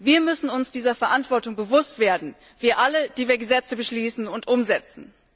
Wir müssen uns dieser Verantwortung bewusst werden, wir alle, die wir Gesetze beschließen und umsetzen!